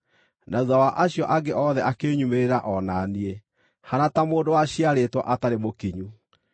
na thuutha wa acio angĩ othe akĩnyumĩrĩra o na niĩ, haana ta mũndũ waciarĩtwo atarĩ mũkinyu.